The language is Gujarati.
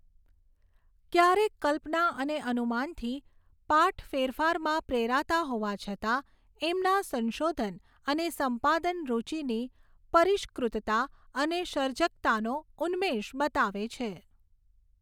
ક્યારેક કલ્પના અને અનુમાનથી પાઠ ફેરફારમાં પ્રેરાતા હોવા છતાં એમના સંશોધન અને સંપાદન રુચિની પરિષ્કૃતતા અને સર્જકતાનો ઉન્મેષ બતાવે છે.